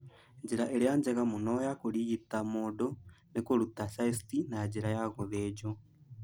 Njĩra ĩrĩa njega mũno ya kũrigita mũndũ nĩ kũruta cyst na njĩra ya gũthĩnjwo.